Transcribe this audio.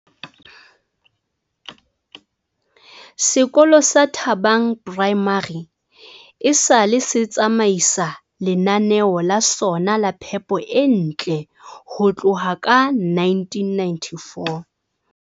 Sekolo sa Thabang Primary esale se tsamaisa lenaneo la sona la phepo e ntle ho tloha ka 1994.